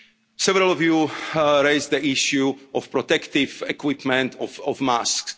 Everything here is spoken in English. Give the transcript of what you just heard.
Several of you raised the issue of protective equipment,